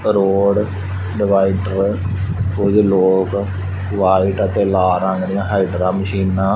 road divider ਕੁਝ ਲੋਗ white ਅਤੇ ਲਾਲ ਰੰਗ ਦੀਆਂ ਹਾਈਡਰਾ ਮਸ਼ੀਨਾ--